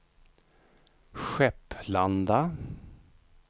Skepplanda